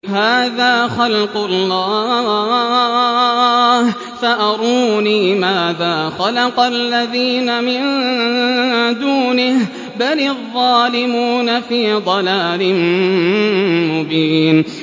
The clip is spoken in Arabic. هَٰذَا خَلْقُ اللَّهِ فَأَرُونِي مَاذَا خَلَقَ الَّذِينَ مِن دُونِهِ ۚ بَلِ الظَّالِمُونَ فِي ضَلَالٍ مُّبِينٍ